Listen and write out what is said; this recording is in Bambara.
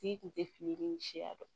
Tigi kun tɛ fili ni siya dɔn